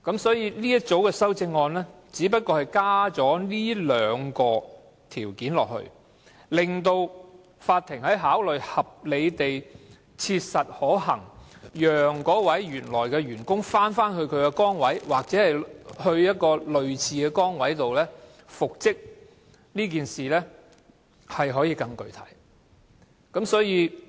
這一組修正案只是加入這兩項條件，令法院在考慮合理地切實可行讓有關的員工返回原來的崗位或調派到類似的崗位復職時，可以更為具體。